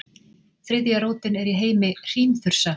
Þriðja rótin er í heimi hrímþursa.